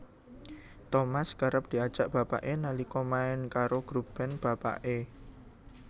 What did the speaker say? Thomas kerep diajak bapaké nalika main karo grup band bapaké